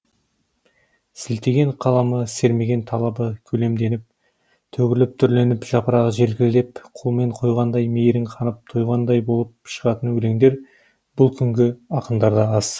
сілтеген қаламы сермеген талабы көлемденіп төгіліп түрленіп жапырағы желкілдеп қолмен қойғандай мейірің қанып тойғандай болып шығатын өлеңдер бұл күнгі ақындарда аз